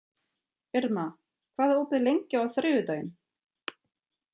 Irma, hvað er opið lengi á þriðjudaginn?